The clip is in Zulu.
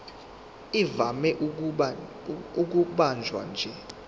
ivame ukubanjwa nje